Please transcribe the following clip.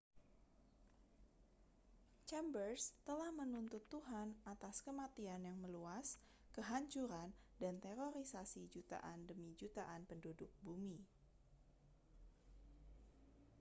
chambers telah menuntut tuhan atas kematian yang meluas kehancuran dan terorisasi jutaan demi jutaan penduduk bumi